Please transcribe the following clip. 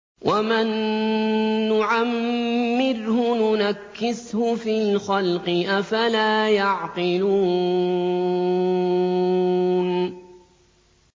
وَمَن نُّعَمِّرْهُ نُنَكِّسْهُ فِي الْخَلْقِ ۖ أَفَلَا يَعْقِلُونَ